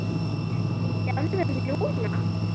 Ertu í þjálfun núna?